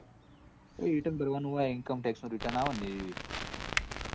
Return ભરવા નું હોય incometax return આવે. એરુ એ